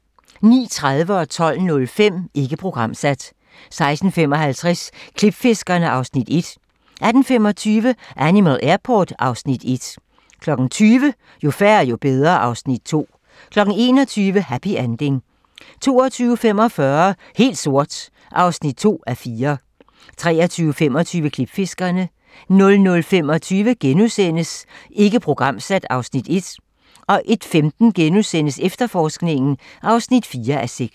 09:30: Ikke programsat 12:05: Ikke programsat 16:55: Klipfiskerne (Afs. 1) 18:25: Animal Airport (Afs. 1) 20:00: Jo færre, jo bedre (Afs. 2) 21:00: Happy Ending 22:45: Helt sort (2:4) 23:25: Klipfiskerne 00:25: Ikke programsat (Afs. 1)* 01:15: Efterforskningen (4:6)*